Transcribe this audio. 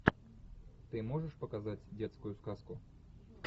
ты можешь показать детскую сказку